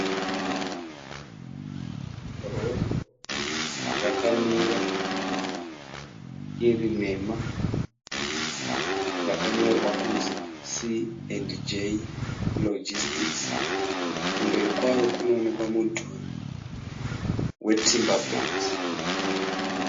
Rori yakamira iri nhema yakanyorwa kunzi C&J Logistics , kumberi kwayo kunoonekwa mudhuri we Timber Bricks.